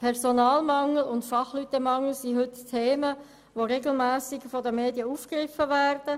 Personalmangel und Fachkräftemangel gehören zu den Themen, die regelmässig von den Medien aufgegriffen werden.